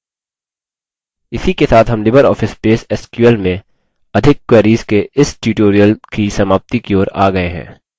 इसी के साथ हम libreoffice base sql view में अधिक queries के इस tutorial की समाप्ति की ओर आ गये हैं